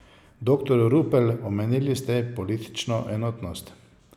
Doktor Rupel, omenili ste politično enotnost.